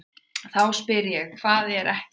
Þá spyr ég: HVAÐ ER EKKERT?